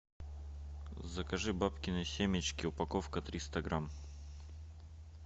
закажи бабкины семечки упаковка триста грамм